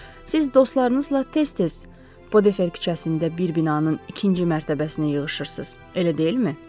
“Siz dostlarınızla tez-tez Podefer küçəsində bir binanın ikinci mərtəbəsinə yığışırsız, elə deyilmi?”